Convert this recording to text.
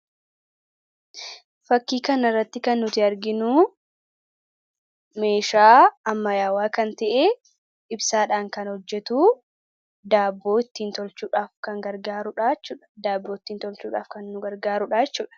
fakkii kana irratti kan nuti arginu meeshaa ammayyaawaa kan ta'e ibsaadhaan kan hojjetu daabboo ittiin tolchuudhaaf kan gargaarudhaa jechuudha. Daabboo ittiin tolchuudhaaf kan nu gargaaruudha jechuudha.